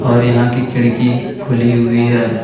और यहां की खिड़की खुली हुई है।